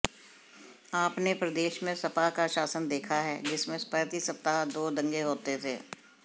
आपने प्रदेश में सपा का शासन देखा है जिसमें प्रति सप्ताह दो दंगे होते थे